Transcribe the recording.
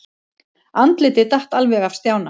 Andlitið datt alveg af Stjána.